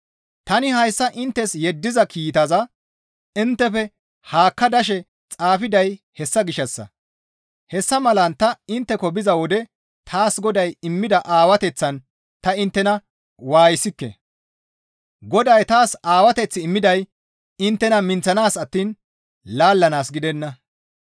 Tani hayssa inttes yeddiza kiitaza inttefe haakka dashe xaafiday hessa gishshassa; hessa malan ta intteko biza wode taas Goday immida aawateththan ta inttena waayisikke; Goday taas Aawateth immiday inttena minththanaas attiin laallanaas gidenna.